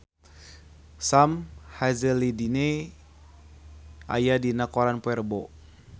Sam Hazeldine aya dina koran poe Rebo